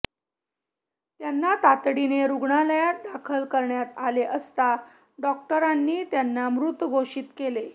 त्यांना तातडीने रुग्णालयात दाखल करण्यात आले असता डॉक्टरांनी त्यांना मृत घोषित केले